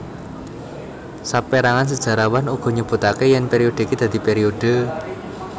Saperangan sejarawan uga nyebutake yen periode iki dadi periode